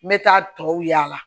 N bɛ taa tɔw yaala